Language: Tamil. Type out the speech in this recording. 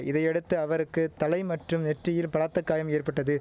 இதையடுத்து அவருக்கு தலை மற்றும் நெற்றியில் பலத்த காயம் ஏற்பட்டது